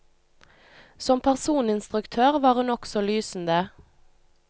Som personinstruktør var hun også lysende.